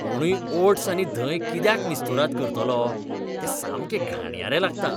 कोणूय ओट्स आनी धंय कित्याक मिस्तुराद करतलो? तें सामकें घाणयारें लागता !